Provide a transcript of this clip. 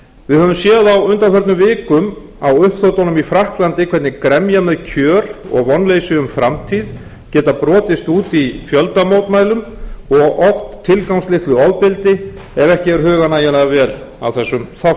við höfum séð á undanförnum vikum á uppþotunum í frakklandi hvernig gremja með kjör og vonleysi um framtíð geta brotist út í fjöldamótmælum og oft tilgangslitlu ofbeldi ef ekki er hugað nægjanlega vel að þessum þáttum máltækið um að betra sé